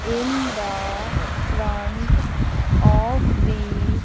in the front of the --